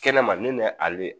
Kɛnɛma ne nɛ ale